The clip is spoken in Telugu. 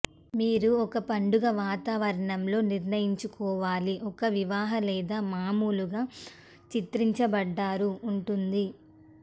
మీరు ఒక పండుగ వాతావరణంలో నిర్ణయించుకోవాలి ఒక వివాహ లేదా మామూలుగా చిత్రించబడ్డారు ఉంటుంది